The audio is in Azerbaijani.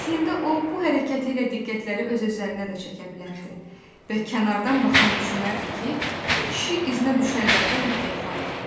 Əslində o bu hərəkəti ilə diqqətləri öz üzərinə də çəkə bilərdi və kənardan baxan düşünərdi ki, bu kişi iznə düşənlərdən ehtiyatlanır.